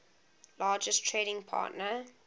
largest trading partner